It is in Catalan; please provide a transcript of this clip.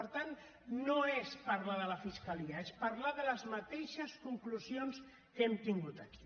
per tant no és parlar de la fiscalia és parlar de les mateixes conclusions que hem tingut aquí